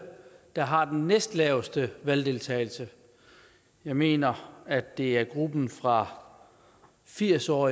der har den næstlaveste valgdeltagelse jeg mener at det er gruppen fra firs år